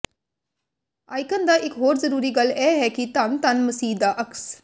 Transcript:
icon ਦਾ ਇਕ ਹੋਰ ਜ਼ਰੂਰੀ ਗੱਲ ਇਹ ਹੈ ਕਿ ਧੰਨ ਧੰਨ ਮਸੀਹ ਦਾ ਅਕਸ